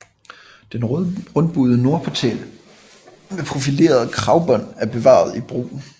Den rundbuede nordportal med profilerede kragbånd er bevaret i brug